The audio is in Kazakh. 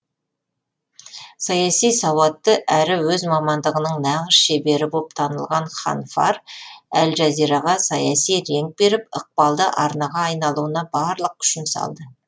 саяси сауатты әрі өз мамандығының нағыз шебері боп танылған ханфар әл жазираға саяси реңк беріп ықпалды арнаға айналуына барлық күшін салды